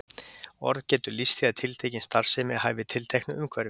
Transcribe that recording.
Orðið getur lýst því að tiltekin starfsemi hæfi tilteknu umhverfi.